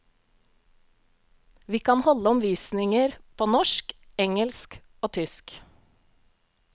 Vi kan holde omvisninger på norsk, engelsk og tysk.